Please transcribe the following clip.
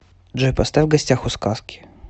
джой поставь в гостях у сказки